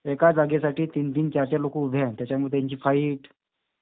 एका जागेसाठी तीन-तीन चार-चार लोक उभे आहेत. त्याच्यामुळे त्यांची फाईट.